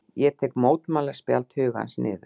Ég tek mótmælaspjald hugans niður.